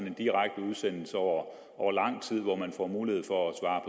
en direkte udsendelse over lang tid hvor man får mulighed for at svare